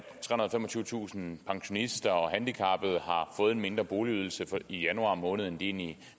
og femogtyvetusind pensionister og handicappede har fået en mindre boligydelse i januar måned end de